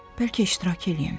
Bəlkə iştirak eləyim.